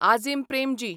Azim Premji